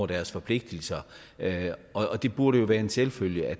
deres forpligtelser og det burde jo være en selvfølge at